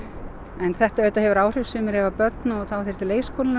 en þetta þetta hefur áhrif sumir eiga börn og þá þyrfti leikskólinn að